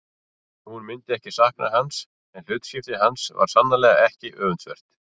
Hún myndi ekki sakna hans en hlutskipti hans var sannarlega ekki öfundsvert.